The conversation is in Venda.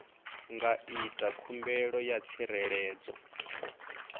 nga ita khumbelo ya tsireledzo